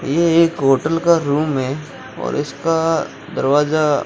ये एक होटल का रूम है और इसका दरवाजा--